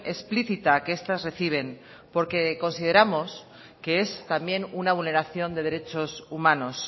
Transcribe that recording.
explícita que estas reciben porque consideramos que es también una vulneración de derechos humanos